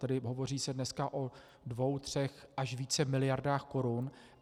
Tedy hovoří se dneska o dvou, třech až více miliardách korun.